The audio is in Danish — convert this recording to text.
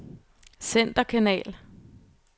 centerkanal